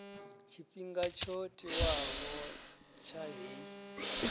tshifhinga tsho tiwaho tsha heyi